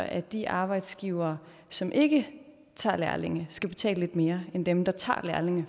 at de arbejdsgivere som ikke tager lærlinge skal betale lidt mere end dem der tager lærlinge